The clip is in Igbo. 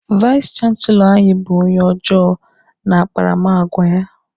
Vais chanselọ anyị bụ onye ọjọọ n'akparamagwa ya.